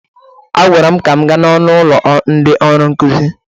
A gwara m ka m gaa n'ọnụ ụlọ ndị ọrụ nkuzi